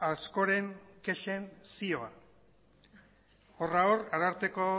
askoren kexen zioa horra hor ararteko